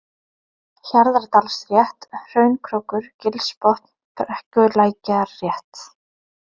Hjarðardalsrétt, Hraunkrókur, Gilsbotn, Brekkulækjarrétt